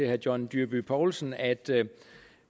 herre john dyrby paulsen at